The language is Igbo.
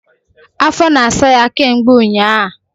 Afo na asa ya ke mgbe unya